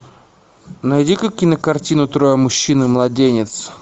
найди ка кинокартину трое мужчин и младенец